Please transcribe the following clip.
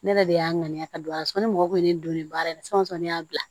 Ne yɛrɛ de y'a ŋaniya ka don a la sɔnni mɔgɔ ye ne donnen baara in na fɛn o fɛn ne y'a bila